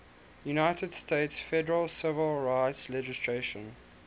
united states federal civil rights legislation